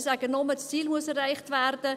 Ich sage nur, das Ziel müsse erreicht werden.